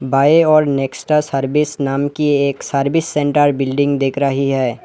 By ओर Nexa service नाम की एक सर्विस सेंटर बिल्डिंग दिख रही है।